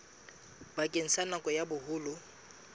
bakeng sa nako ya boholo